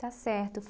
Está certo.